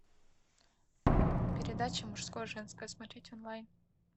передача мужское женское смотреть онлайн